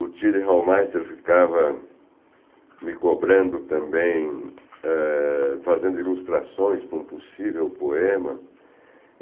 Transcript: O Tilly Hallmeister ficava me cobrando também ah, fazendo ilustrações para um possível poema.